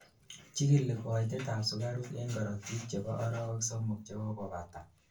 chikili koitet ab sugaruk en korotik chebo arowek somok chekokobata